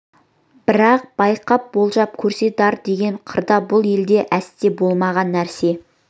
бірақ байқап болжап көрсе дар деген қырда бұл елде әсте болмаған нәрсе